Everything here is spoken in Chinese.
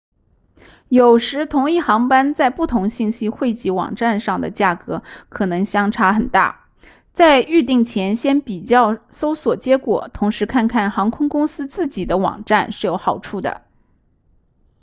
有时同一航班在不同信息汇集网站上的价格可能相差很大在预订前先比较搜索结果同时看看航空公司自己的网站是有好处的